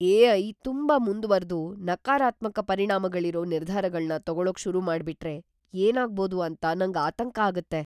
AI. ತುಂಬಾ ಮುಂದ್ವರ್ದು ನಕಾರಾತ್ಮಕ ಪರಿಣಾಮಗಳಿರೋ ನಿರ್ಧಾರಗಳ್ನ ತಗೊಳಕ್ ಶುರುಮಾಡ್ಬಿಟ್ರೆ ಏನಾಗ್ಬೋದು ಅಂತ ನಂಗ್ ಆತಂಕ ಆಗತ್ತೆ.